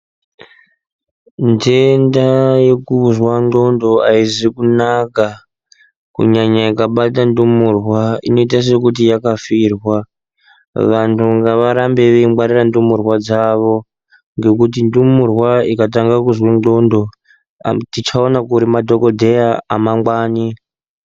Ntenda yekuzwa nxondo haisi kunaka kunyanya ikabata ndumurwa inoita sekuti yakafirwa vantu ngavarambe veingwarira ndumurwa dzavo ngekuti ndumurwa ikatange kuzwe nxondo tichawanepi madhokodheya amangwani.